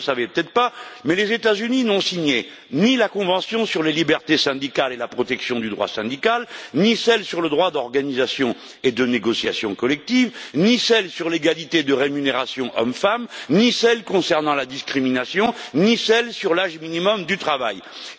Vous ne le savez peut être pas, mais les États Unis n'ont signé ni la convention sur la liberté syndicale et la protection du droit syndical, ni celle sur le droit d'organisation et de négociation collective, ni celle sur l'égalité de rémunération hommes femmes, ni celle concernant la discrimination, ni celle sur l'âge minimum d'admission à l'emploi.